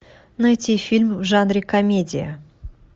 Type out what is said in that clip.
найти фильм в жанре комедия